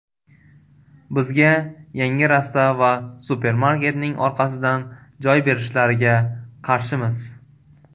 Bizga yangi rasta va supermarketning orqasidan joy berishlariga qarshimiz.